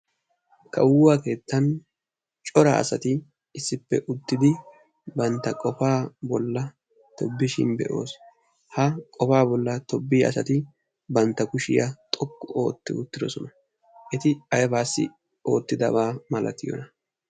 kawuwaa keettan cora asati issippe uttidi banta qofaa bolan tobishin be'oos, ha banta qofaa bolan asati banta kushiya xoqu ooti uttidosona , ha asati banta kushiya aybaassi xoqqu ootidonaa?